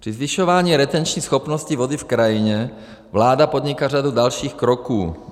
Při zvyšování retenční schopnosti vody v krajině vláda podnikla řadu dalších kroků.